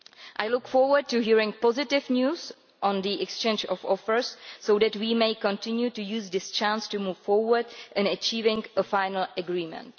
I look forward to hearing positive news on the exchange of offers so that we may continue to use this chance to move forward in achieving a final agreement.